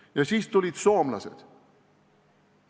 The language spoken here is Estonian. Ja siis tulid soomlased.